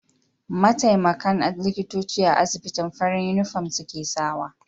Mataimakan likitoci a asibitin farin inufom suke sawa